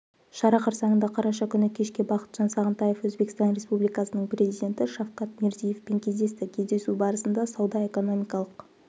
шара қарсаңында қараша күні кешке бақытжан сағынтаев өзбекстан республикасының президенті шавкат мирзиевпен кездесті кездесу барысында сауда-экономикалық